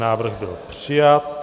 Návrh byl přijat.